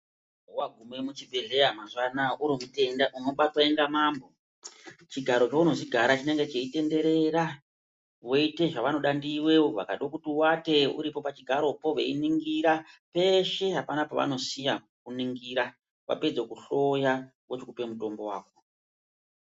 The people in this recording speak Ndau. Wagume muchibhedhleya mazuva anaya uri mutenda unobatwa inga mambo. Chigaro chounozi gara chinenge cheitenderera voite zvavanoda ndiwe, vakado kuti uwate uripo pachigaropo veiningira, peshe hapana pavanosiya kuningira. Vapedzo kuhloya vozokupe mutombo wako.